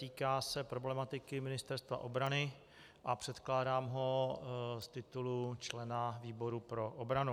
Týká se problematiky Ministerstva obrany a předkládám ho z titulu člena výboru pro obranu.